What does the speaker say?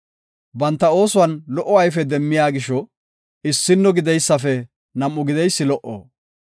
Banta oosuwan lo77o ayfe demmiya gisho issino gideysafe nam7a gideysi lo77o.